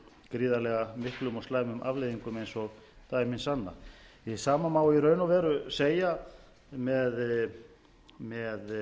gríðarlega miklum og slæmum afleiðingum eins og dæmi sanna hið sama má í raun og veru